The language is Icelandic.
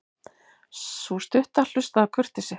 Sú stutta hlustaði af kurteisi.